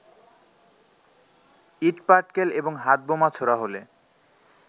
ইটপাটকেল এবং হাতবোমা ছোঁড়া হলে